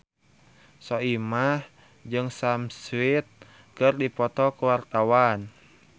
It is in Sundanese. Soimah jeung Sam Smith keur dipoto ku wartawan